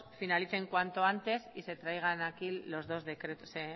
finalicen cuanto antes y se traigan aquí los dos decretos se